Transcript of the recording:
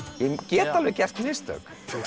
ég get alveg gert mistök